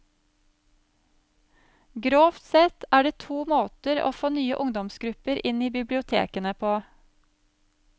Grovt sett er det to måter å få nye ungdomsgrupper inn i bibliotekene på.